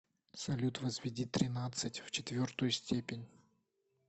салют возведи тринадцать в четвертую степень